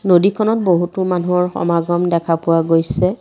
নদীখনত বহুতো মানুহৰ সমাগম দেখা পোৱা গৈছে।